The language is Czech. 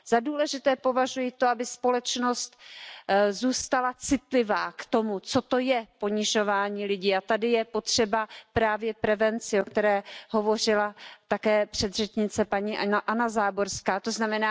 Za důležité považuji to, aby společnost zůstala citlivá k tomu, co to je ponižování lidí, a tady je potřeba právě prevenci, o které hovořila také předřečnice Anna Záborská, tzn.